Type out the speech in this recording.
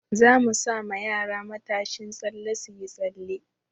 Za mu sa ma yara matashin tsalle su yi tsalle.